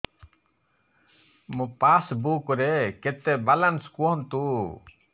ମୋ ପାସବୁକ୍ ରେ କେତେ ବାଲାନ୍ସ କୁହନ୍ତୁ